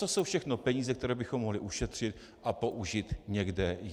To jsou všechno peníze, které bychom mohli ušetřit a použít někde jinde.